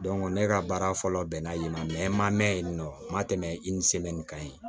ne ka baara fɔlɔ bɛnna yen nɔ n ma mɛn yen nɔ n ma tɛmɛ kan yen